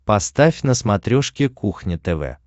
поставь на смотрешке кухня тв